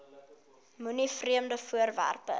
moenie vreemde voorwerpe